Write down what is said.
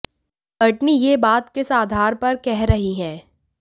Courtney ये बात किस आधार पर कह रही हैं